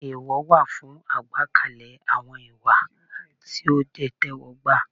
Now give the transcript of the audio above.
Èèwọ̀ wà fún àgbékalẹ̀ àwọn ìwà tí ó jẹ́ ìtẹ́wọ́gbà.